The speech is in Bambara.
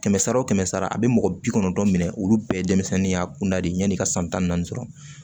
Kɛmɛ sara wo kɛmɛ sara a bɛ mɔgɔ bi kɔnɔntɔn minɛ olu bɛɛ ye denmisɛnninya kunda de ye yanni i ka san tan naani sɔrɔ